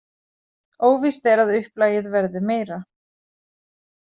Óvíst er að upplagið verði meira.